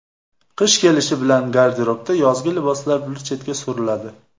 Qish kelishi bilan garderobda yozgi liboslar bir chetga suriladi.